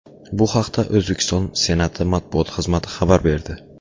Bu haqda O‘zbekiston Senati matbuot xizmati xabar berdi .